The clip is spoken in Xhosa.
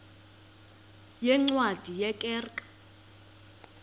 yeencwadi ye kerk